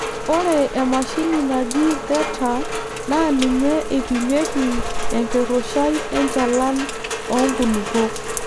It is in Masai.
Ore emashini naji theta naa ninye eipimieki enkirrushai enchalan oonkulupuok.